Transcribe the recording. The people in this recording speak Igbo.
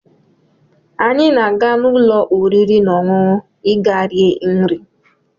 Anyị na-aga n'ụlọ oriri na ọṅụṅụ ịga rie nri